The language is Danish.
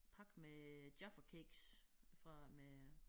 Pakke med Jaffa Cakes fra med